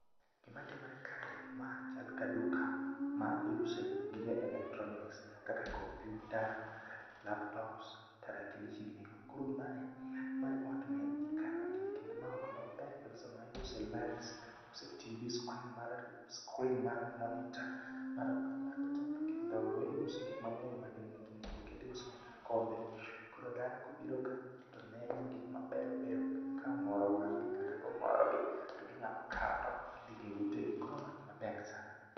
Gima timore kae, ma chal ka duka ma iuse gige electronics kaka kompyuta, laptops, tarakilishi ginigo. Koro mae mae e ot mikanogi, kendo ma ot maber kabisa maiuse lights, iuse tv[c], screen mar screen mar monitor laptop kendo iuse gik mang'eny man nigi nengo gi. Kendo iuso nyaka kombe , koro dhano kobiro ka to neno gik mabero beyo, komoro wang'gi kat komoro gi to ginyalo kao to gidhigo e utegi. Koro ma gima ber sana.